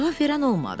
Cavab verən olmadı.